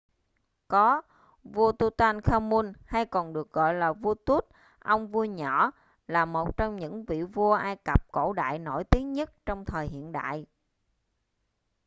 có vua tutankhamun hay còn được gọi là vua tut ông vua nhỏ là một trong những vị vua ai cập cổ đại nổi tiếng nhất trong thời hiện đại